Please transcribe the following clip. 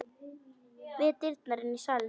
Við dyrnar inn í salinn.